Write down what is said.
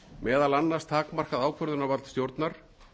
meðal annars takmarkað ákvarðanavald stjórnar